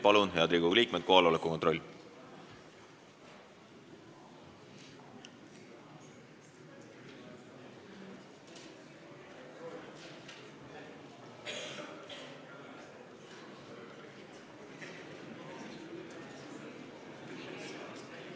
Palun, head Riigikogu liikmed, kohaloleku kontroll!